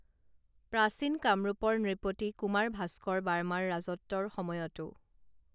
প্ৰাচীন কামৰূপৰ নৃপতি কুমাৰ ভাস্কৰ বাৰ্মাৰ ৰাজত্বৰ সময়তো